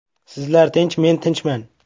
Sizlar tinch, men tinchman.